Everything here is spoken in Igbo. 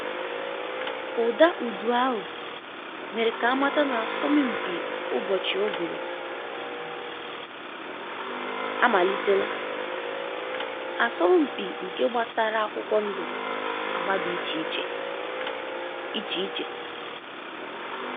Ụda udu ahụ mere ka a mata na asọmpi ụbọchi uguru um amalitela, asọmpi nke gbasara akwụkwọ ndụ agba dị iche iche. iche iche.